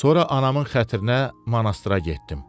Sonra anamın xətrinə monastıra getdim.